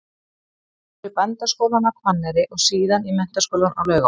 Hann fór í Bændaskólann á Hvanneyri og síðan í Menntaskólann á Laugarvatni.